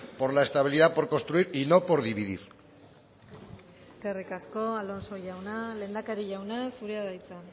por la estabilidad por construir y no por dividir eskerrik asko alonso jauna lehendakari jauna zurea da hitza